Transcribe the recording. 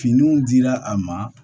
Finiw dira a ma